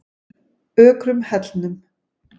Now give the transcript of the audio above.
Ökrum Hellnum